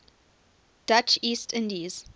dutch east indies